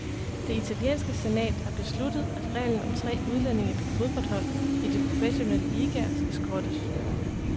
Det italienske senat har besluttet, at reglen om tre udlændinge på fodboldhold i de professionelle ligaer skal skrottes.